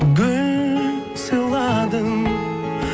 гүл сыйладым